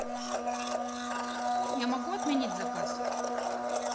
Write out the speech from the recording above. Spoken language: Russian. я могу отменить заказ